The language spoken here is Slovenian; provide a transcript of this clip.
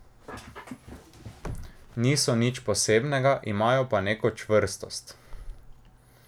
Niso nič posebnega, imajo pa neko čvrstost.